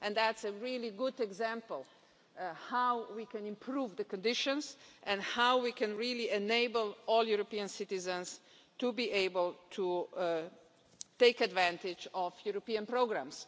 It's a really good example of how we can improve conditions and how we can really enable all European citizens to be able to take advantage of European programmes.